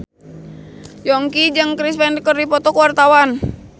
Yongki jeung Chris Pane keur dipoto ku wartawan